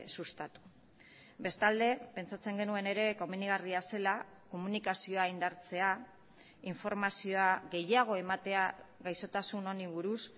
sustatu bestalde pentsatzen genuen ere komenigarria zela komunikazioa indartzea informazioa gehiago ematea gaixotasun honi buruz